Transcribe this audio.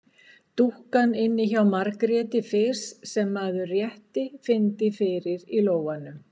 Dúkkan inni hjá Margréti fis sem maður rétt fyndi fyrir í lófanum.